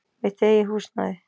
Mitt eigið húsnæði.